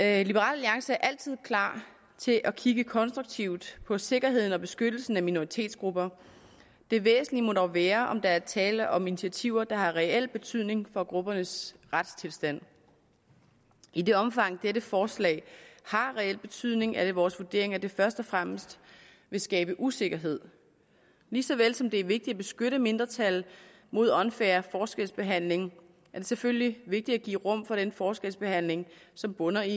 alliance er altid klar til at kigge konstruktivt på sikkerheden for og beskyttelsen af minoritetsgrupper det væsentlige må dog være om der er tale om initiativer der har reel betydning for gruppernes retstilstand i det omfang dette forslag har reel betydning er det vores vurdering at det først og fremmest vil skabe usikkerhed lige så vel som det er vigtigt at beskytte mindretal mod unfair forskelsbehandling er det selvfølgelig vigtigt at give rum for den forskelsbehandling som bunder i